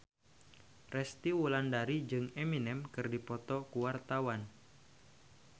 Resty Wulandari jeung Eminem keur dipoto ku wartawan